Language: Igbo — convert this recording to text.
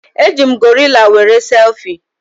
Eji m gorila were selfie